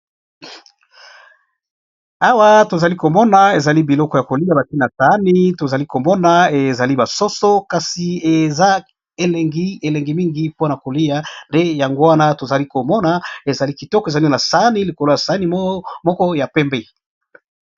Awa tozali komona ezali biloko ya kolia batie na sani tozali komona ezali ba soso kasi eza elengi elengi mingi mpona kolia nde yango wana tozali komona ezali kitoko ezali na sani likolo ya sani moko ya pembe.